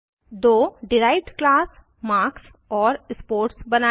दो derived class marks और sports बनायें